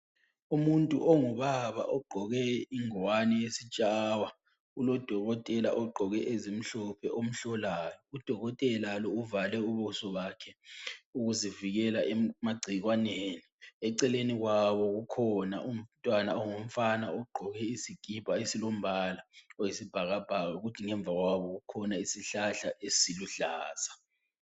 Umuntu ongubaba ogqoke ingwane yesitshawa ulodokotela ogqoke ezimhlophe omhlolayo, udokotela lo uvale ubuso bakhe, ukuzivikela emagcikwaneni eceleni kwabo ukhona umntwana ongumfana ogqoke isikipa esilombala oyisibhakabhaka kuthi ngemva kwabo kukhona isihlahla esiluhlaza.